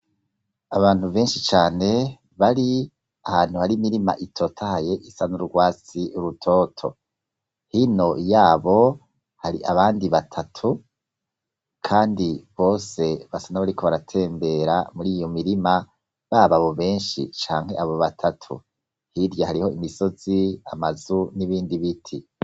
Abantu benshi cane bari ahantu hari mirima itotahaye isa n'urwatsi rutoto hino yabo hari abandi batatu kandi bose basana bariko baratembera muri iyo mirima baba bo benshi canke abo batatu hirya hariho imisozi amazu n'ibindi biti.